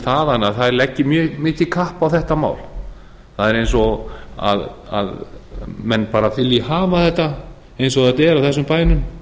fjármálastofnunum að þær leggi mikið kapp á þetta mál það er eins og menn vilji hafa þetta eins og þetta er á þessum bænum